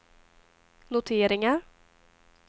noteringar